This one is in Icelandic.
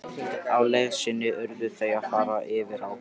Á leið sinni urðu þau að fara yfir á.